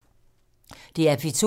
DR P2